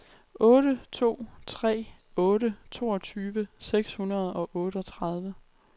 otte to tre otte toogtyve seks hundrede og otteogtredive